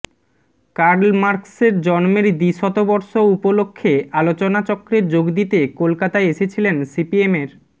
curl মার্কসের জন্মের দ্বিশতবর্ষ উপলক্ষে আলোচনাচক্রে যোগ দিতে কলকাতায় এসেছিলেন সিপিএমের